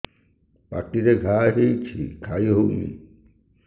ପାଟିରେ ଘା ହେଇଛି ଖାଇ ହଉନି